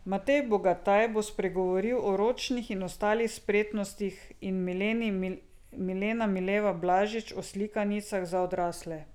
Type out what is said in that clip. Matej Bogataj bo spregovoril o ročnih in ostalih spretnostih in Milena Mileva Blažić o slikanicah za odrasle.